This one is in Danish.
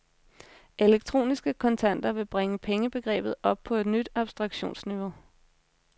Elektroniske kontanter ville bringe pengebegrebet op på et nyt abstraktionsniveau.